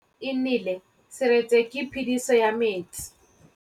Fa pula e nelê serêtsê ke phêdisô ya metsi.